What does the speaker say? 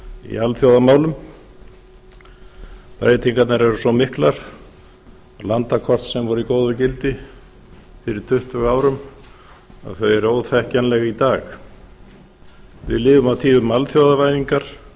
í alþjóðamálum breytingarnar eru svo miklar að landakort sem voru í góðu gildi fyrir tuttugu árum eru óþekkjanleg í dag við lifum á tímum alþjóðavæðingar